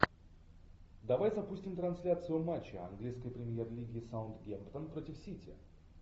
давай запустим трансляцию матча английской премьер лиги саутгемптон против сити